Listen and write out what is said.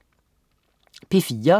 P4: